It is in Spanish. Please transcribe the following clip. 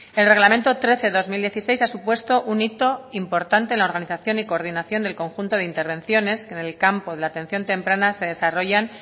el reglamento trece barra dos mil dieciséis ha supuesto un hito importante en la organización y coordinación del conjunto de intervenciones que en campo de la atención temprana se desarrollan